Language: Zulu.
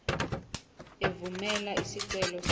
evumela isicelo sakho